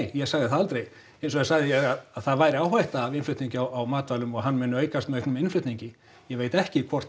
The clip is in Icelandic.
ég sagði það aldrei hins vegar sagði ég að það væri áhætta af innflutningi á matvælum og hann muni aukast með auknum innflutningi ég veit ekki hvort